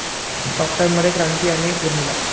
talk टाइममध्ये क्रांती आणि उर्मिला